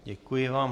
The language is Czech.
Děkuji vám.